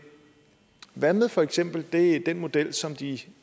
hvad med for eksempel den model som de